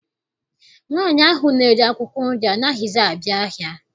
Nwaanyị ahụ na-ere akwụkwọ nri anaghịzi abịa ahịa.